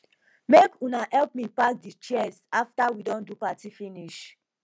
make una help me pack di chairs after we don do di party finish